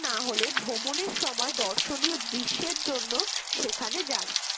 না হলে ভ্রমণের সময় দর্শনীয় দৃশ্যের জন্য সেখানে যান